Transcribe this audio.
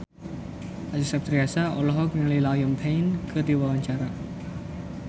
Acha Septriasa olohok ningali Liam Payne keur diwawancara